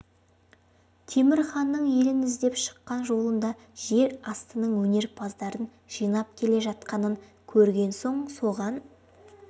темір ханның елін іздеп шыққан жолында жер астының өнерпаздарын жинап келе жатқанын көрген соң соған